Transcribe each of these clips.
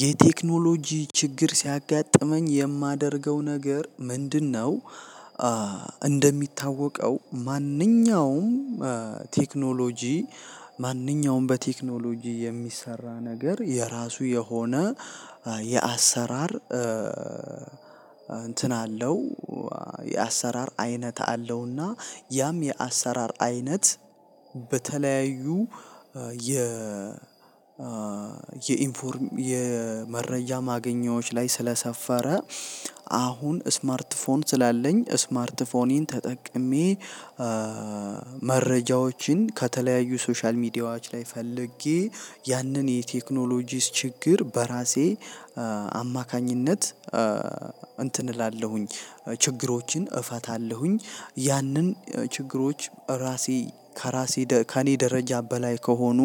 የቴክኖሎጂ ችግር ሲያጋጥመኝ የማደርገው ነገር ምንድ ነው? እንደሚታወቀው ማንኛውም ቴክኖሎጂ ማንኛውም በቴክኖሎጂ የሚሰራ ነገር የራሱ የሆነ የአሰራር እንትን አለው። የአሰራር አይነት አለውና ያም የአሰራር አይነት በተለያዩ የ የኢንፎርም የመረጃ ማገኛዎች ላይ ስለሰፈረ አሁን ስማርት ፎን ስላለኝ ስማርት ፎንን ተጠቅሜ መረጃዎችን ከተለያዩ ሶሻል ሚዲያዎች ላይ ፈልጌ ያንን የቴክኖሎጂስት ችግር በራሴ አማካኝነት እንትን እላለሁኝ ችግሮችን እፈታለሁኝ ያንን ችግሮች ራሴ ከራሴ ከእኔ ደረጃ በላይ ከሆኑ።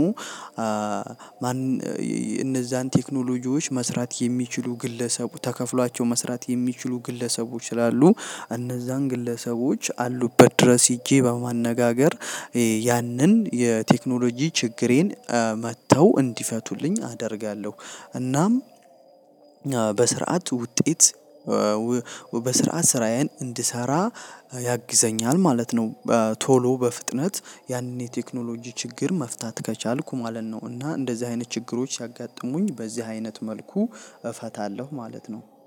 እነዛን ቴክኖሎጂዎች መስራት የሚችሉ ግለሰቡ ተከፍሏቸው መስራት የሚችሉ ግለሰቦች ስላሉ እነዛን ግለሰቦች አሉበት ድረስ ሄጄ በማነጋገር ያንን የቴክኖሎጂ ችግሬን መጥተው እንዲፈቱልኝ አደርጋለሁ። እናም በስርዓት ውጤት በስርዓት ስራዬን እንድሰራ ያግዘኛል ማለት ነው። ቶሎ በፍጥነት ያንን የቴክኖሎጂ ችግር መፍታት ከቻልኩ ማለት ነው። እና እንደዚህ አይነት ችግሮች ሲያጋጥሙኝ በዚህ አይነት መልኩ እፈታለሁ ማለት ነው